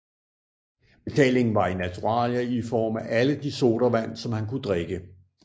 Betalingen var i naturalier i form af alle de sodavand som han kunne drikke